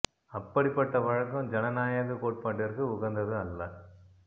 அப்படிப்பட்ட வழக்கம் ஜனநாயகக் கோட்பாட்டிற்கு உகந்தது அல்ல